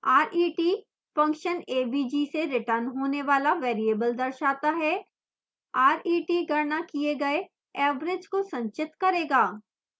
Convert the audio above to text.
ret function avg से return होना वाला variable दर्शाता है